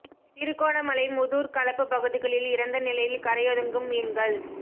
திருகோணமலை மூதூர் களப்பு பகுதிகளில் இறந்த நிலையில் கரையொதுங்கும் மீன்கள்